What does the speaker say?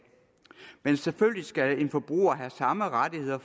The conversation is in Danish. selvfølgelig skal en forbruger have samme rettigheder